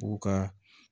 U ka